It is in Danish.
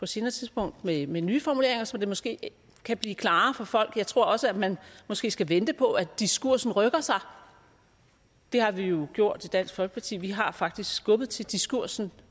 senere tidspunkt med med nye formuleringer så det måske kan blive klarere for folk jeg tror også at man måske skal vente på at diskursen rykker sig det har vi jo gjort i dansk folkeparti vi har faktisk skubbet til diskursen